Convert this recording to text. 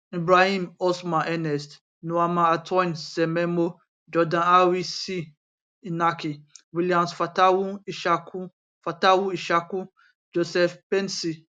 um ibrahim osman ernest nuamah antoine semenyo jordan ayew c inaki williams fatawu issahaku fatawu issahaku joseph paintsil